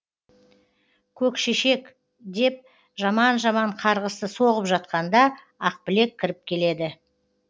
көк шешек деп жаман жаман қарғысты соғып жатқанда ақбілек кіріп келеді